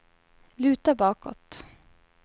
luta bakåt